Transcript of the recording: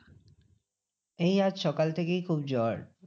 এই আজ সকাল থেকেই খুব জ্বর।